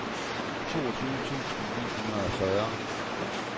toogtyve tusind ni hundrede og fyrre